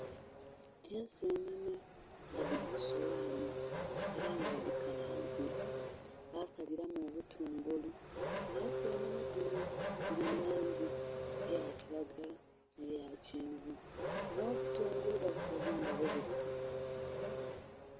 Ensenhenhe nga dhiri kusoghanhi era nga badhikalanze basaliramu obutungulu, ensenhenhe dhino dhiri mulangi eyakiragala nh'eyakyenvu nh'obutungulu babusaze nga bubisi.